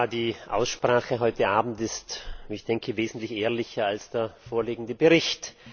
Die Aussprache heute Abend ist, wie ich denke, wesentlich ehrlicher als der vorliegende Bericht.